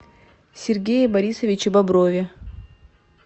сергее борисовиче боброве